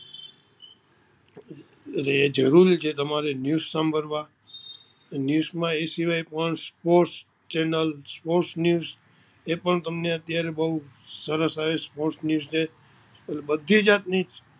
એ જરૂરી તમારે ન્યુસ સાંભડવા ન્યુસ માં એ સિવાય પણ sports channel sports news એ પણ તમને અત્યારે બોવ સરસ આવે sports news છે એ બધી જાતની